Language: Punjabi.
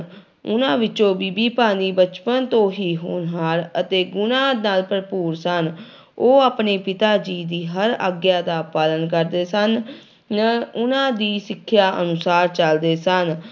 ਉਹਨਾਂ ਵਿੱਚੋਂ ਬੀਬੀ ਭਾਨੀ ਬਚਪਨ ਤੋਂ ਹੀ ਹੋਨਹਾਰ ਅਤੇ ਗੁਣਾਂ ਨਾਲ ਭਰਪੂਰ ਸਨ ਉਹ ਆਪਣੇ ਪਿਤਾ ਜੀ ਦੀ ਹਰ ਆਗਿਆ ਦਾ ਪਾਲਣ ਕਰਦੇ ਸਨ ਨ ਉਹਨਾਂ ਦੀ ਸਿੱਖਿਆ ਅਨੁਸਾਰ ਚੱਲਦੇ ਸਨ।